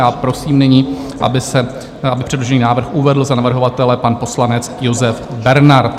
Já prosím nyní, aby předložený návrh uvedl za navrhovatele pan poslanec Josef Bernard.